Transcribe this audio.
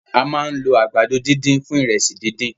A ma ń lo àgbàdo dídùn fún ìrẹsì díndín.